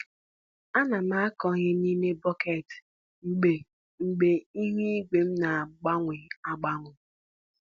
Ana m akụ ihe n’ime bọket mgbe mgbe ihu igwe na-agbanwe agbanwe.